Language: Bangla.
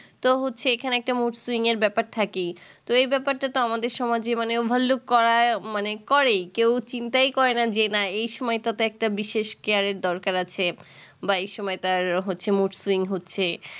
তো হচ্ছে এখানে একটা mood swing এর ব্যাপার থাকেই তো এই ব্যাপারটা তো আমাদের সমাজে মানে overlook করাই মানে করে কেও চিন্তায় করে না যে না এই সময় টা তে একটা বিশেষ care এর দরকার আছে বা এই সময় তার হচ্ছে mood swing হচ্ছে